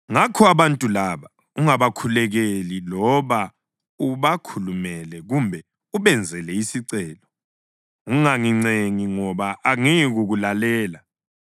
Ngakho abantu laba ungabakhulekeli loba ubakhulumele kumbe ubenzele isicelo; ungangincengi ngoba angiyikukulalela.